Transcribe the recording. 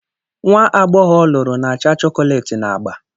nwa agbọghọ ọ lụrụ na acha chọkọletị na agba